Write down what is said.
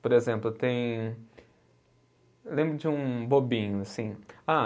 Por exemplo, tem lembro de um bobinho, assim. Ah